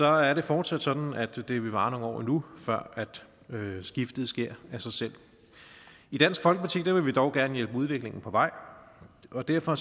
er det fortsat sådan at det vil vare nogle år endnu før skiftet sker af sig selv i dansk folkeparti vil vi dog gerne hjælpe udviklingen på vej og derfor